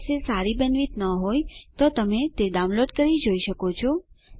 જો તમારી બેન્ડવિડ્થ સારી ન હોય તો તમે ડાઉનલોડ કરી તે જોઈ શકો છો